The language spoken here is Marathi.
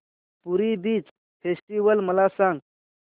पुरी बीच फेस्टिवल मला सांग